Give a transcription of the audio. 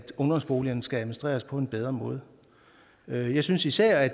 ungdomsboligerne skal administreres på en bedre måde jeg synes især at